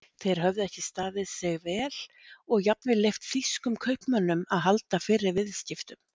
Þeir höfðu ekki staðið sig vel og jafnvel leyft þýskum kaupmönnum að halda fyrri viðskiptum.